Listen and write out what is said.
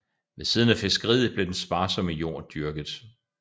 Ved siden af fiskeriet blev den sparsomme jord dyrket